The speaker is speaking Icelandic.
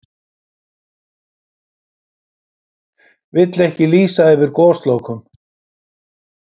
Vill ekki lýsa yfir goslokum